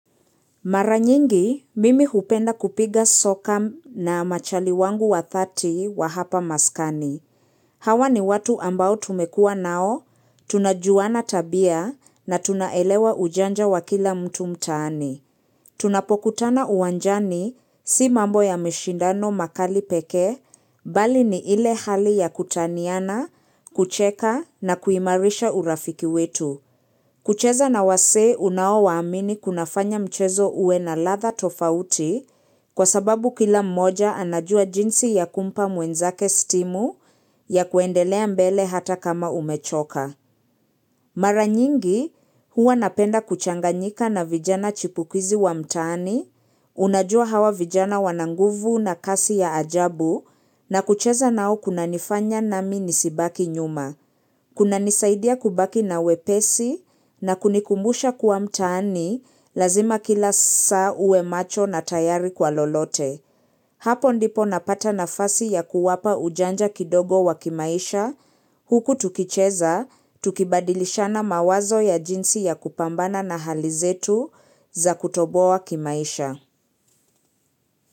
Maranyingi, mimi hupenda kupiga soka na machali wangu wa 30 wa hapa maskani. Hawa ni watu ambao tumekua nao, tunajuana tabia na tunaelewa ujanja wa kila mtu mtaani. Tunapokutana uwanjani si mambo ya mashindano makali pekee bali ni ile hali ya kutaniana, kucheka na kuimarisha urafiki wetu. Kucheza na wasee unaowaamini kuna fanya mchezo uwe na ladha tofauti kwa sababu kila mmoja anajua jinsi ya kumpa mwenzake stimu ya kuendelea mbele hata kama umechoka. Mara nyingi huwa napenda kuchanganyika na vijana chipukizi wa mtaani, unajua hawa vijana wananguvu na kasi ya ajabu na kucheza nao kuna nifanya nami nisibaki nyuma. Kuna nisaidia kubaki na wepesi na kunikumbusha kua mtaani lazima kila saa uwe macho na tayari kwa lolote. Hapo ndipo napata nafasi ya kuwapa ujanja kidogo wa kimaisha huku tukicheza, tukibadilishana mawazo ya jinsi ya kupambana na hali zetu za kutoboa kimaisha.